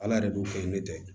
Ala yɛrɛ dun kɛ ni ne tɛ